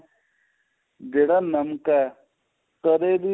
ਜਿਹੜਾ ਨਮਕ ਏ ਕਦੇਂ ਵੀ